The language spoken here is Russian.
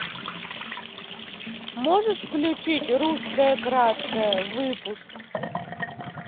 можешь включить русское краткое выпуск